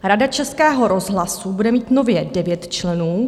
Rada Českého rozhlasu bude mít nově 9 členů.